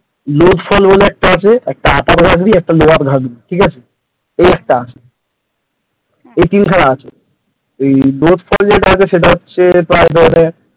লুৎফল বলে একটা আছে একটা ওই upper velly একটা lower velly এইটা এই তিনখানা আছে লুৎফর বলতে যেয়ে যেটা তোর আছে সেটা